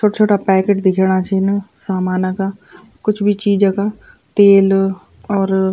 छुट छुटा पैकेट दिखेणा छिन सामान का कुछ भी चीज का तेल और --